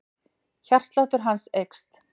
Hjartsláttur hans eykst.